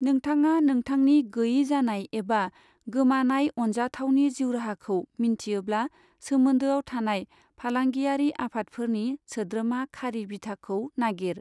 नोंथाङा नोंथांनि गैयैजानाय एबा गोमानाय अनजाथावनि जिउराहाखौ मिन्थियोब्ला सोमोन्दोआव थानाय फालांगियारि आफादफोरनि सोद्रोमा खारि बिथाखौ नागिर।